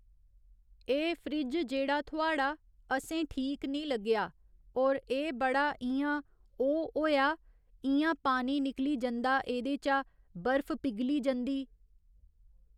एह् फ्रिज जेह्ड़ा थुआड़ा असें ठीक नी लग्गेआ होर एह् बड़ा इयां ओह् होएया, इयां पानी निकली जंदा एहदे चा बर्फ पिघली जंदी।